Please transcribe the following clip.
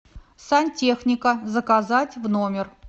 сантехника заказать в номер